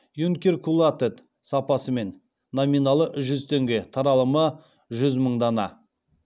юнкиркулатэд сапасымен номиналы жүз теңге таралымы жүз мың дана